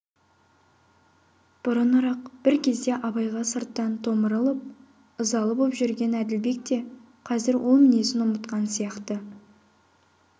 бұрынырақ бір кезде абайға сырттан томырылып ызалы боп жүрген әділбек те қазір ол мінезін ұмытқан сияқты